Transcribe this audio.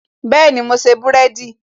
Bẹẹni, mo ṣe búrẹ́dì